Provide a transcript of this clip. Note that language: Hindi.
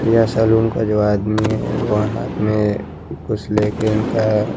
या सेलून को जो आदमी है वो हाथ में कुछ लेके इनका --